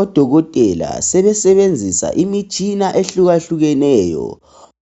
Odokotela sebesebenzisa imitshina ehluka hlukeneyo